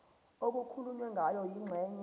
okukhulunywe ngayo kwingxenye